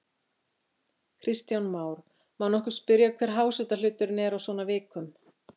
Kristján Már: Má nokkuð spyrja hver hásetahluturinn er á svona vikum?